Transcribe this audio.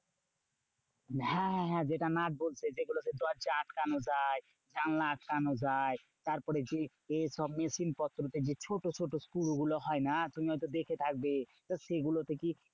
হ্যাঁ হ্যাঁ হ্যাঁ যেটা নাটবল্টু। সেই যেগুলো দরজায় আটকানো যায়, জানালায় আটকানো যায়। তারপরে সেই যে সব machine পত্রতে যে ছোট ছোট স্ক্রুগুলো হয় না? তুমি হয়তো দেখে থাকবে। তা সেগুলো তে কি